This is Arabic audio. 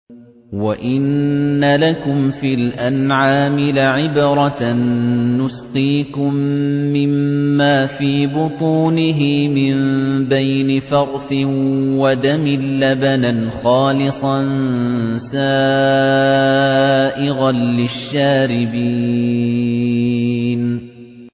وَإِنَّ لَكُمْ فِي الْأَنْعَامِ لَعِبْرَةً ۖ نُّسْقِيكُم مِّمَّا فِي بُطُونِهِ مِن بَيْنِ فَرْثٍ وَدَمٍ لَّبَنًا خَالِصًا سَائِغًا لِّلشَّارِبِينَ